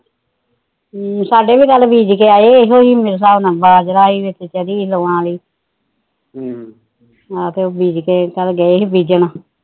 ਸਾਡੇ ਵੀ ਕੱਲ ਬੀਜ ਗਿਆ ਏ ਮੇਰੇ ਹਿਸਾਬ ਨਾਲ ਬਾਜਰਾ ਏ ਚਰੀ ਲੋਆ ਆਲੀ ਹਮ ਆਹੋ ਫਿਰ ਕੱਲ ਬੀਜਕੇ ਗਏ ਸੀ ਬੀਜਣ